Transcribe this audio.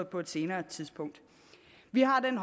på et senere tidspunkt vi har i